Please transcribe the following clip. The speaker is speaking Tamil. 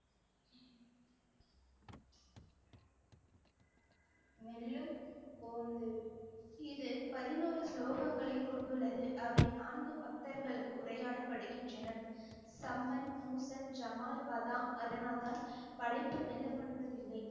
மெல்லும் போந்து இது பதினோரு ஸ்லோகங்களை கொண்டுள்ளது அவை நான்கு பக்தர்களுக்கு உரையாடப்படுகின்றன சம்மன், மூசன், ஜமால், பதாங் அதனால்தான் படைப்பு மெல்லப்படுவதில்லை